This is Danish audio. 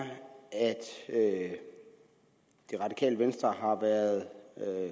at det radikale venstre har været